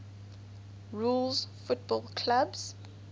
rules football clubs